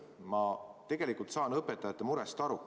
Ma tegelikult saan õpetajate murest aru.